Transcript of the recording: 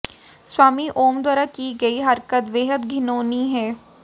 स्वामी ओम द्वारा की गयी हरकत बेहद घिनौनी है